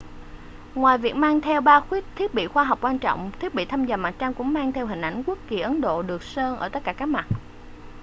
ngoài việc mang theo ba thiết bị khoa học quan trọng thiết bị thăm dò mặt trăng cũng mang theo hình ảnh quốc kỳ ấn độ được sơn ở tất cả các mặt